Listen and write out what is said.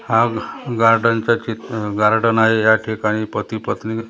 हा गार्डनचा चि आह गार्डन आहे या ठिकाणी पती पत्नी आहेत.